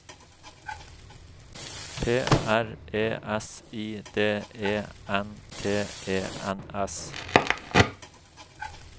P R E S I D E N T E N S